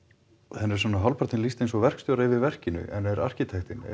henni er hálfpartinn svona lýst eins og verkstjóra yfir verkinu en er arkitektinn